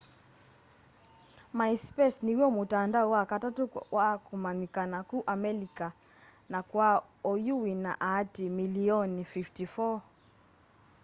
myspace niw'o mutandao wa katatu kwa kumanyikana ku amelika na kwa oyu wina aatiii milioni 54